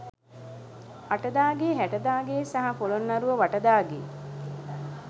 අට දා ගේ හැට දා ගේ සහ පොළොන්නරුව වටදා ගේ